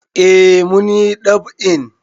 Eh mun yi ɗab'in.